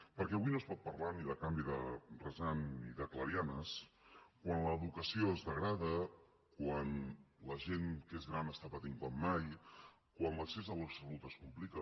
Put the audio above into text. perquè avui no es pot parlar ni de canvi de rasant ni de clarianes quan l’educació es degrada quan la gent que és gran està patint com mai quan l’accés a la salut es complica